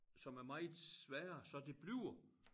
Som er meget sværere så det bliver